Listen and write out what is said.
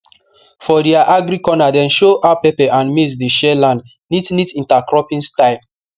for their agri corner dem show how pepper and maize dey share land neat neat intercropping style